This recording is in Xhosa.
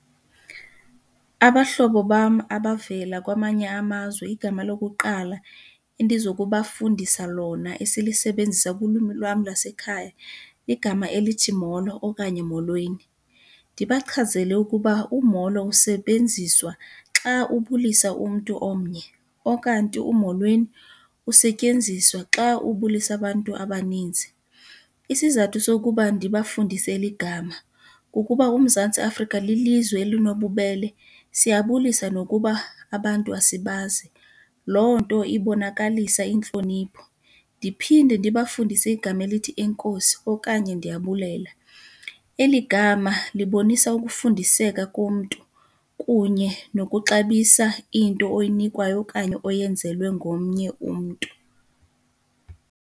Abahlobo bam abavela kwamanye amazwe igama lokuqala endizokubafundisa lona esilusebenzisa kulwimi lwam lasekhaya ligama elithi molo okanye molweni. Ndibachazele ukuba umolo usebenziswa xa ubulisa umntu omnye okanti umolweni usetyenziswa xa ubulisa abantu abaninzi. Isizathu sokuba ndibafundise eli gama kukuba uMzantsi Afrika lilizwe elinobubele siyabulisa nokuba abantu asibazi, loo nto ibonakalisa intlonipho. Ndiphinde ndibafundise igama elithi enkosi okanye ndiyabulela. Eli gama libonisa ukufundiseka komntu kunye nokuxabisa into oyinikwayo okanye oyenzelwe ngomnye umntu.